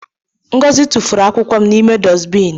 Ngozi tụfụrụ akwụkwọ n’ime dustibin